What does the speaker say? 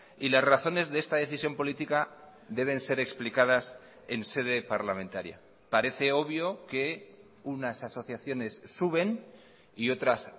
y las razones de esta decisión política deben ser explicadas en sede parlamentaria parece obvio que unas asociaciones suben y otras